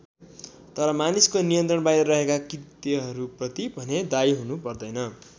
तर मानिसको नियन्त्रण बाहिर रहेका कृत्यहरूप्रति भने दायी हुनु पर्दैन।